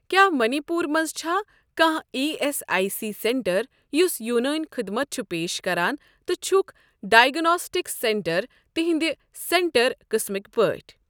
کیٛاہ مٔنی پوٗر مَنٛز چھا کانٛہہ E S I C centre یُس یوٗنٲنؠ خدمت چھُ پیش کران تہٕ چھُکھ ڈایگناسٹِکس سیٚنٛٹر تِہنٛدِ سینٹر قٕسمٕکۍ پٲٹھۍ؟